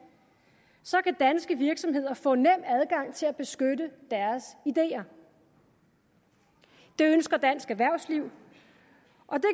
så kan danske virksomheder få nem adgang til at beskytte deres idéer det ønsker dansk erhvervsliv